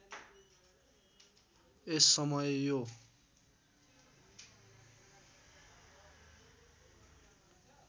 यस समय यो